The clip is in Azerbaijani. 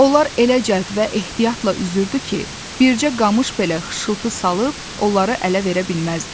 Onlar elə cəld və ehtiyatla üzürdü ki, bircə qamış belə xışıltı salıb onları ələ verə bilməzdi.